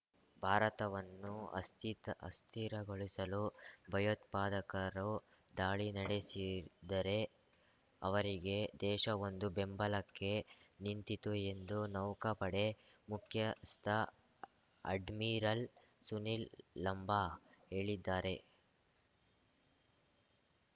ಭಾರತವನ್ನು ಅಸ್ಥಿತ ಅಸ್ಥಿರಗೊಳಿಸಲು ಭಯೋತ್ಪಾದಕರು ದಾಳಿ ನಡೆಸಿದರೆ ಅವರಿಗೆ ದೇಶವೊಂದು ಬೆಂಬಲಕ್ಕೆ ನಿಂತಿತು ಎಂದು ನೌಕಾಪಡೆ ಮುಖ್ಯಸ್ಥ ಅಡ್ಮಿರಲ್ ಸುನಿಲ್ ಲಂಬಾ ಹೇಳಿದ್ದಾರೆ